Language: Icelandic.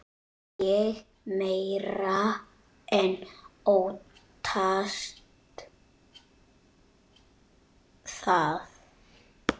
Ég meira en óttast það.